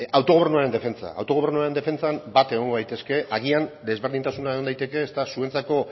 autogobernuaren defentsa autogobernuaren defentsan bat egongo gaitezke agian desberdintasuna egon daiteke eta zuentzako